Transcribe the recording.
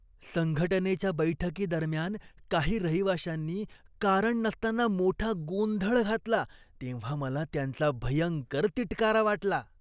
संघटनेच्या बैठकीदरम्यान काही रहिवाशांनी कारण नसताना मोठा गोंधळ घातला तेव्हा मला त्यांचा भयंकर तिटकारा वाटला.